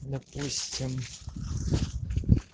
допустим